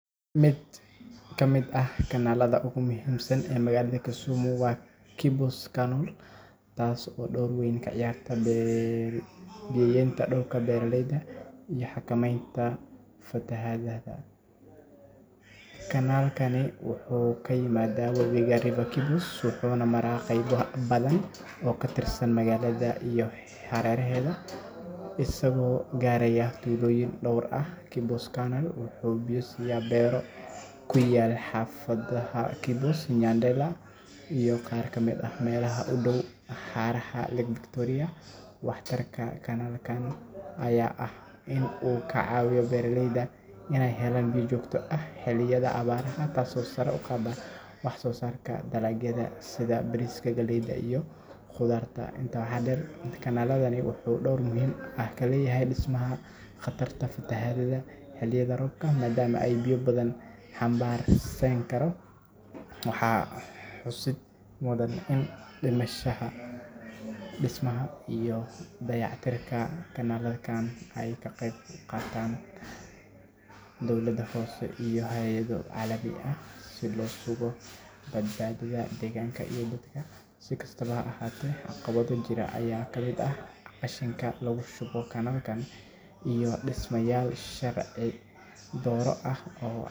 Magaalada Kisumu waa magaalo muhiim ah oo ku taalla xeebta harada ee dalka Kenya, waxayna leedahay dhaqan iyo ganacsi hodan ah. Isha ugu weyn ee dakhliga magaalada waa ganacsiga dekedda harada, taas oo ka dhigaysa xarun muhiim ah oo isku xirta magaalada iyo gobollada kale. Dekedda waxay u adeegtaa sidii meel lagu soo dejiyo laguna dhoofiyo badeecooyin kala duwan, taas oo kor u qaadda dhaqaalaha gobolka. Sidoo kale, kalluumeysiga ayaa ah il dhaqaale oo weyn, maadaama harada ay hodan ku tahay kalluunka, waxaana kalluumeysigu ka mid yahay shaqooyinka ugu badan ee dadka magaalada ku tiirsan yihiin.